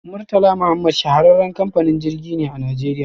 Murtala Muhammad shahararren kamfanin jirgi ne a najeriya.